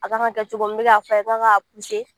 A kan ka kɛ cogo min n bɛ k'a fɔ a ye k'a k'a